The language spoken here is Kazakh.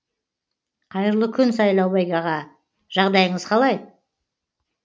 қайырлы күн сайлаубек аға жағдайыңыз қалай